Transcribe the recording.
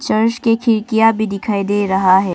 Church की खिड़कियां भी दिखाई दे रहा है।